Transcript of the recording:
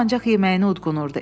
O ancaq yeməyini udqunurdu.